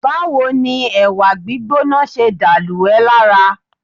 Báwo ni ẹ̀wà gbígbóná ṣe dà lù ẹ́ lára?